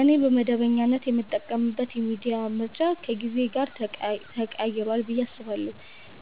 እኔ በመደበኛነት የምጠቀምበት የሚዲያ ምርጫ ከጊዜ ጋር ተቀይሯል ብዬ አስባለሁ።